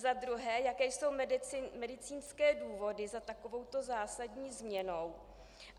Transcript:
Za druhé, jaké jsou medicínské důvody za takovouto zásadní změnou.